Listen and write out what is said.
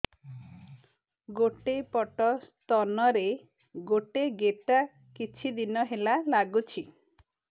ଗୋଟେ ପଟ ସ୍ତନ ରେ ଗୋଟେ ଗେଟା କିଛି ଦିନ ହେଲା ଲାଗୁଛି